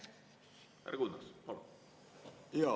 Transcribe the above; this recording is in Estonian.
Härra Kunnas, palun!